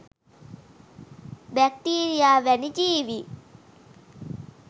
bacteria වැනි ජීවීන්